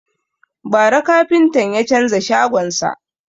Bara kafintan ya canza shagon sa.